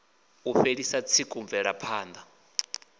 u fhelisa tsiku mvelapha ṋda